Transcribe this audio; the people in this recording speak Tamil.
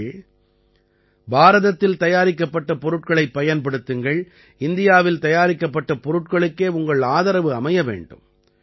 நீங்கள் பாரதத்தில் தயாரிக்கப்பட்ட பொருட்களைப் பயன்படுத்துங்கள் இந்தியாவில் தயாரிக்கப்பட்ட பொருட்களுக்கே உங்கள் ஆதரவு அமைய வேண்டும்